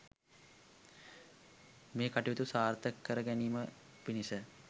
මේ කටයුතු සාර්ථක කර ගැනීම පිණිස